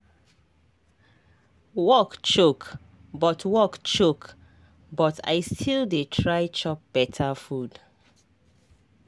work choke but work choke but i still dey try chop beta food